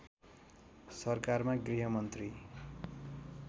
सरकारमा गृहमन्त्री